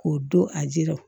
K'o don a jira